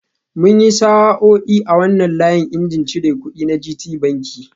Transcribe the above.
Mun yi sa'o'i a wannan layin injin cir kudi na Gtbanki